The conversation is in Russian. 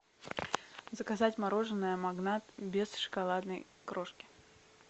заказать мороженое магнат без шоколадной крошки